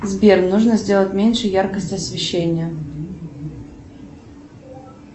сбер нужно сделать меньше яркость освещения